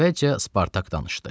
Əvvəlcə Spartak danışdı.